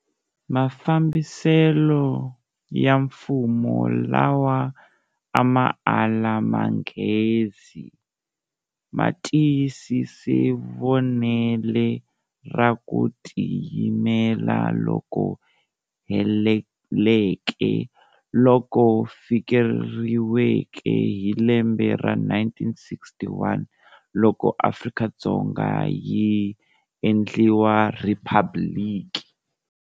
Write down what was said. Mafambisele ya mfumo lawa ama ala manghezi, ma tiyisise vonele ra ku ti yimela loku heleleke loku fikeleriweke hi lembe ra 1961 loko Afrika-Dzonga yi endliwa Rhiphabliki.